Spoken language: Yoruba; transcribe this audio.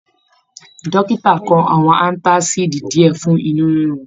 Dókítà kọ àwọn antasidi diẹ fún inú rirun.